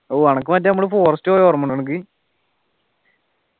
അനക്ക് മറ്റേ നമ്മള് forest പോയതോർമയുണ്ടോ അനക്ക്